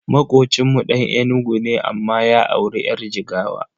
Makocinmu Dan Enugu ne amma ya auri yar Jigawa.